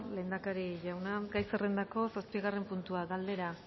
lehendakari jauna gai zerrendako zortzigarren puntua galdera